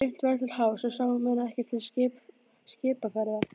Dimmt var til hafs og sáu menn ekkert til skipaferða.